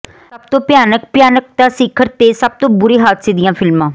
ਸਭ ਤੋਂ ਭਿਆਨਕ ਭਿਆਨਕਤਾ ਸਿਖਰ ਤੇ ਸਭ ਤੋਂ ਬੁਰੀ ਹਾਦਸੇ ਦੀਆਂ ਫਿਲਮਾਂ